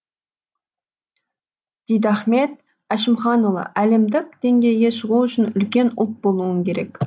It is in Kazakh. дидахмет әшімханұлы әлемдік деңгейге шығу үшін үлкен ұлт болуың керек